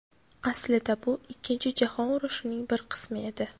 Aslida bu Ikkinchi jahon urushining bir qismi edi.